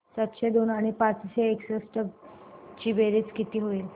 सातशे दोन आणि पाचशे एकसष्ट ची बेरीज किती होईल